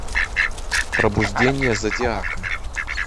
пробуждение зодиака